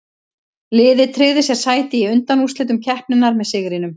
Liðið tryggði sér sæti í undanúrslitum keppninnar með sigrinum.